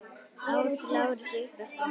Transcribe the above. át Lárus upp eftir honum.